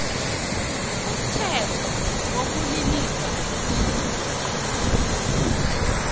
umthetho wokulilisa umuntu